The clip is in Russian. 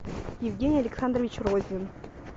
евгений александрович розин